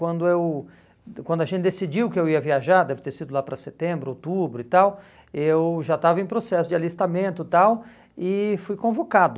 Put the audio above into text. Quando eu quando a gente decidiu que eu ia viajar, deve ter sido lá para setembro, outubro e tal, eu já estava em processo de alistamento e tal, e fui convocado.